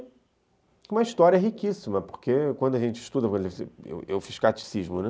E uma história riquíssima, porque quando a gente estuda, eu fiz catecismo, né?